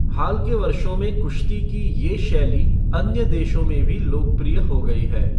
हाल के वर्षों में कुश्ती की ये शैली अन्य देशों में भी लोकप्रिय हो गई है।